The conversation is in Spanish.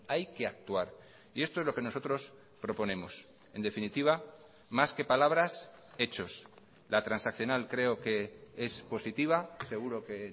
hay que actuar y esto es lo que nosotros proponemos en definitiva más que palabras hechos la transaccional creo que es positiva seguro que